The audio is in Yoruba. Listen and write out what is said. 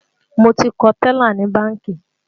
Mo ti kọ tẹ́là ní bánkì